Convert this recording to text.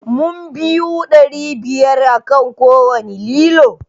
Mun biyu ɗari biyar akan kowanne lilo